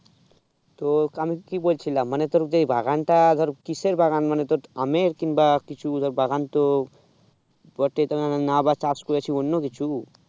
তো আমি কি বলছিলাম মানে তোর যে বাগানটা ধর কিসের বাগান মানে তোর আমের কিংবা কিছু বাগান তো না আবা চাষ করেছিস অন্য কিছু